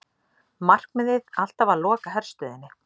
Markmiðið alltaf að loka herstöðinni